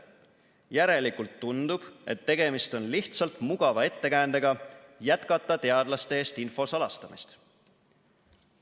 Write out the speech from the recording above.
Järelikult tundub, et tegemist on lihtsalt mugava ettekäändega jätkata teadlaste eest info salastamist.